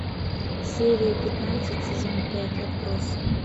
серия пятнадцать сезон пять отбросы